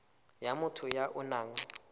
ya motho ya o nang